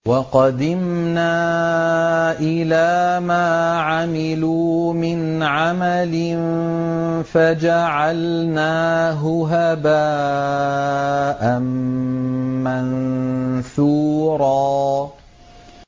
وَقَدِمْنَا إِلَىٰ مَا عَمِلُوا مِنْ عَمَلٍ فَجَعَلْنَاهُ هَبَاءً مَّنثُورًا